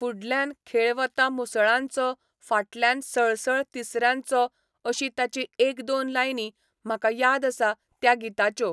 फुडल्यान खेळ वता मुसळांचो फाटल्यान सळसळ तिसऱ्यांचो अशी ताची एक दोन लायनी म्हाका याद आसा त्या गिताच्यो.